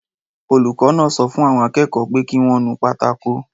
Olùkọ́ náà sọ fún àwọn akẹ́kọ̀ọ́ pé kí wọ́n nu pátákó